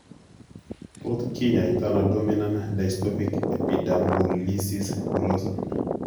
Tot kinyaitaano dominant dystophic epidermolysis bullosa?